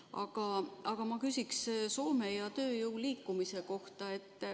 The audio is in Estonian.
Aga nüüd ma küsin Soome ja tööjõu liikumise kohta.